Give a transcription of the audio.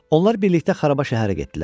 Onlar birlikdə xaraba şəhərə getdilər.